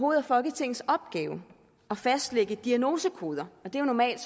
er folketingets opgave at fastlægge diagnosekoder det er normalt